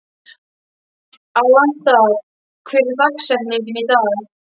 Alanta, hver er dagsetningin í dag?